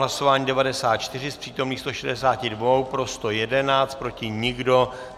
Hlasování 94, z přítomných 162 pro 111, proti nikdo.